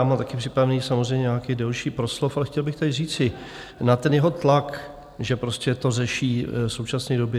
Já mám taky připravený samozřejmě nějaký delší proslov, ale chtěl bych tady říci na ten jeho tlak, že prostě to řeší v současné době.